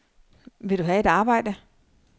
Vil du have et arbejde?